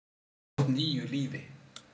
mót nýju lífi